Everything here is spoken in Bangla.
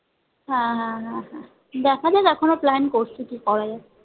হ্যাঁহ্যাঁহ্যাঁ দেখা যাক এখনো plan করছি কি করা যায়